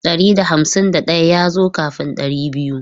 Ɗari da hamsin daya ya zo kafin ɗari biyu.